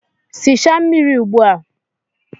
Sichaa mmiri ugbu a!